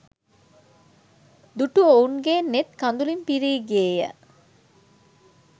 දුටු ඔවුන්ගේ නෙත් කඳුලින් පිරී ගියේය